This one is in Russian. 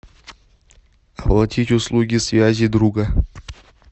оплатить услуги связи друга